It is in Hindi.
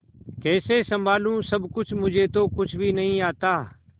कैसे संभालू सब कुछ मुझे तो कुछ भी नहीं आता